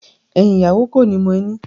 Ẹyin ìyàwó koni mo ẹni.